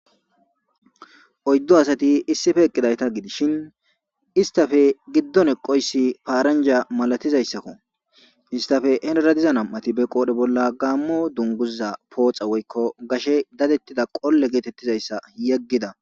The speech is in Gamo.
Oyddo asati issife eqqidayta gidishin istafe giddon eqoyssi paaranja malatizayssakko istafe henera diza nam7ati be qoodhe bolla gaammo dunguza pooxa woykko gashe dadettida qolle geetettizayssa yeggida.